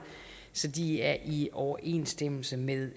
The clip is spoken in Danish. så de er i overensstemmelse med